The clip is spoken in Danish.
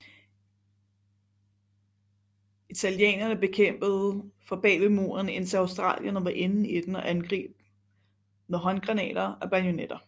Italienerne kæmpede fra bagved muren indtil australierne var inde i den og angreb med håndgranater og bajonetter